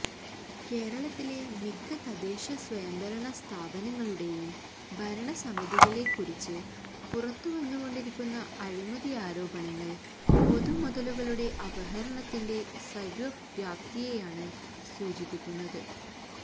കേരളത്തിലെ മിക്ക തദ്ദേശ സ്വയംഭരണ സ്ഥാപനങ്ങളുടെയും ഭരണസമിതികളെ കുറിച്ച് പുറത്തുവന്നുകൊണ്ടിരിക്കുന്ന അഴിമതിയാരോപണങ്ങള് പൊതുമുതലുകളുടെ അപഹരണത്തിന്റെ സര്വ വ്യാപ്തിയെയാണ് സൂചിപ്പിക്കുന്നത്